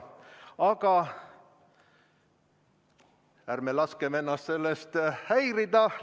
Aga ärgem laskem ennast sellest häirida.